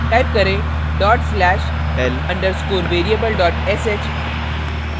type करें dot slash l _ variable sh